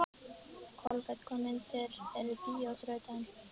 Kolbeinn, hvaða myndir eru í bíó á þriðjudaginn?